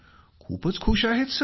खूपच खुश आहेत सर